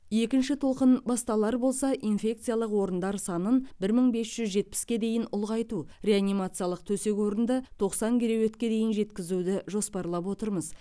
екінші толқын басталар болса инфекциялық орындар санын бір мың бес жүз жетпіске дейін ұлғайту реанимациялық төсек орынды тоқсан кереуетке дейін жеткізуді жоспарлап отырмыз